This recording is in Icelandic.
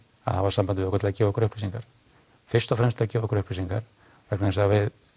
að hafa samband við okkur til að gefa okkur upplýsingar fyrst og fremst til að gefa okkur upplýsingar vegna þess að